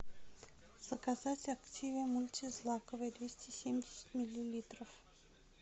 заказать активиа мультизлаковый двести семьдесят миллилитров